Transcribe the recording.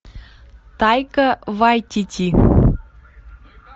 тайка вайтити